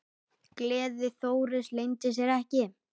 Gleði Þóris leyndi sér ekki.